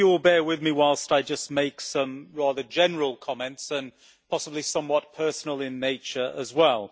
I hope you will bear with me whilst I make some rather general comments that are possibly somewhat personal in nature as well.